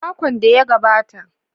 Makon da ya gabata.